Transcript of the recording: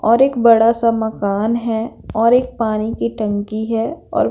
और एक बड़ा सा मकान है और एक पानी की टंकी है और --